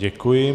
Děkuji.